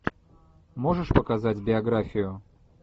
можешь показать биографию